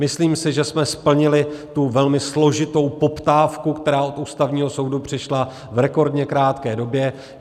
Myslím si, že jsme splnili tu velmi složitou poptávku, která od Ústavního soudu přišla, v rekordně krátké době.